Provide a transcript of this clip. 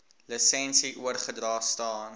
lisensie oorgedra staan